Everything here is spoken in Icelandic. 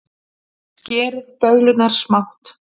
Skerið döðlurnar smátt.